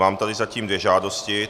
Mám tady zatím dvě žádosti.